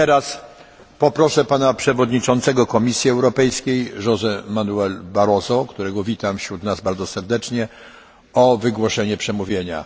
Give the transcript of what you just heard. Teraz poproszę Pana Przewodniczącego Komisji Europejskiej José Manuela Barroso, którego witam wśród nas bardzo serdecznie, o wygłoszenie przemówienia.